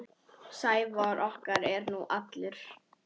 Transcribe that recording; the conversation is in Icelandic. Sævar okkar er nú allur.